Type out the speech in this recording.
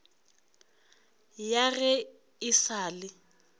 ya ge e sa le